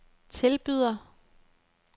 tilbyder